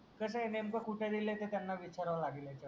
कस आहे नेमक कुठ दिल आहे त्यांनास विचारव लागल नेमक